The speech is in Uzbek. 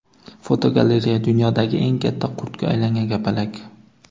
Fotogalereya: Dunyodagi eng katta qurtga aylangan kapalak.